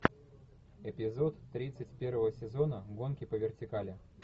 эпизод тридцать первого сезона гонки по вертикали